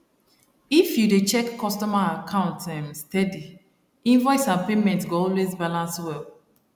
if you dey check customer account um steady invoice and payment go always balance well